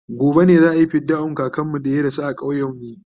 gobe ne za'ayi fidda'un kakanmu da ya rasu a ƙauyen mu